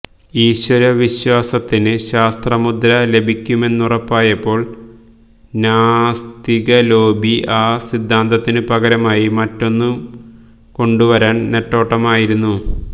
ഈശ്വരവിശ്വാസത്തിന് ശാസ്ത്രമുദ്ര ലഭിക്കുമെന്നുറപ്പായപ്പോള് നാസ്തികലോബി ആ സിദ്ധാന്തത്തിനു പകരമായി മറ്റൊന്നു കൊണ്ടുവരാന് നെട്ടോട്ടമായിരുന്നു